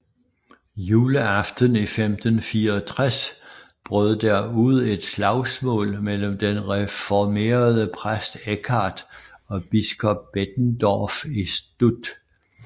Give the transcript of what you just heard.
Juleaften i 1564 brød der ud et slagsmål mellem den reformerede præst Eckard og biskop Bettendorf i St